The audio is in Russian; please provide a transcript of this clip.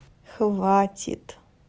хватит